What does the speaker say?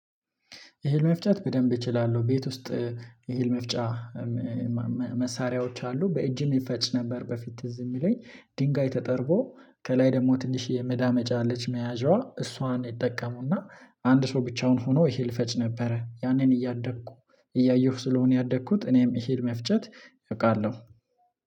እህል መፍጨት በደንብ እችላለሁ ቤት ውስጥ እህል መፍጫ። መሳሪያዎች አሉ በእጅም ይፈጭ ነበር በፊት ትዝ የሚለኝ ድንጋይ ተጠርቦ ከላይ ደግሞ ትንሽ የመዳመጫ ልጅ መያዣዋ እሷን ይጠቀሙና አንድ ሰው ብቻውን ሆኖ እህል ይፈጭ ነበረ። ያንን እያደግኩ እያየሁ ስለሆነ ያደግኩት እኔም እህል መፍጨት አቃለሁ